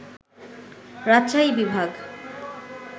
রাজশাহী বিভাগ